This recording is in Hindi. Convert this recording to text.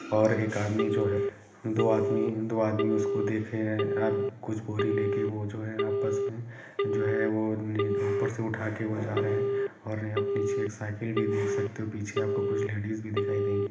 और एक आदमी जो है दो आदमी दो आदमी उसको देखे रहे है आप कुछ बोरी लेके वो जो है आपस में जो है वो नई-ऊपर से उठाके वो जा रहे है यहाँ और पीछे एक साईकिल भी देख सकते हो पीछे आपको कुछ लेडिस भी दिखाई देंगी।